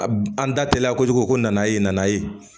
A an da teliya kojugu ko nana e nana ye